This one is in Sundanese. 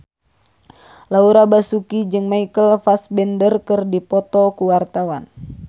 Laura Basuki jeung Michael Fassbender keur dipoto ku wartawan